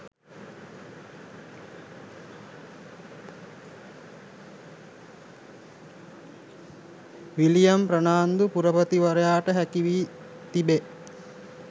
William Fernando පුරපතිවරයාට හැකි වී තිබේ.